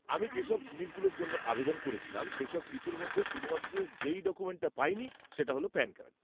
আমি যেসব জিনিসগুলির জন্য আবেদন করেছিলাম, সেইসব কিছুর মধ্যে শুধুমাত্র যেই ডকুমেন্টটা পাইনি সেটা হল প্যান কার্ড।